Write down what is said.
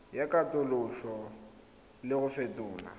ya katoloso le go fetola